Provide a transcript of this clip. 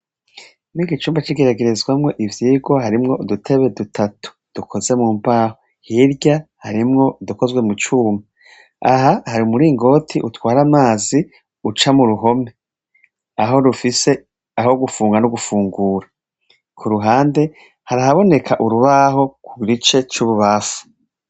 Icumba c'igeragerezamw'ivyigwa, harimw' udutebe dutatu dukozwe mumbaho, hirya harimw' udukozwe mucuma, aha har' umuringot'utwar' amaz' uca mu ruhome, aho rufise gufunga n'ugufungura, kuruhande harabonek'urubaho mu gice c' ibubamfu.